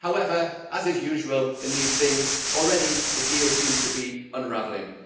However, as is usual in these things, already the deal seems to be unravelling.